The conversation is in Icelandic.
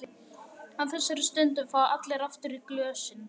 Á þessari stundu fá allir aftur í glösin.